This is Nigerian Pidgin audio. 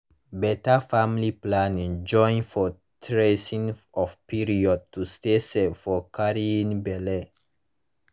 better family planning join for tracing of period to stay safe from carrying belle